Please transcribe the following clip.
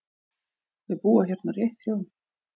Þau búa hérna rétt hjá.